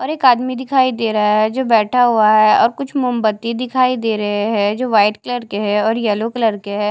और एक आदमी दिखाई दे रहा है जो बैठा हुआ है और कुछ मोमबत्ती दिखाई दे रहे है जो वाइट कलर के है और येलो कलर के है।